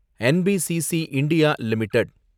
NBCC India limited